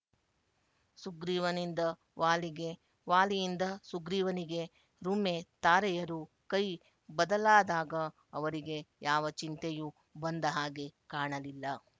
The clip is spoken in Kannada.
ಸುಗ್ರೀವನಿಂದ ವಾಲಿಗೆ ವಾಲಿಯಿಂದ ಸುಗ್ರೀವನಿಗೆ ರುಮೆ ತಾರೆಯರು ಕೈ ಬದಲಾದಾಗ ಅವರಿಗೆ ಯಾವ ಚಿಂತೆಯೂ ಬಂದ ಹಾಗೆ ಕಾಣಲಿಲ್ಲ